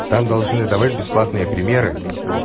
там должны выдавать бесплатные примеры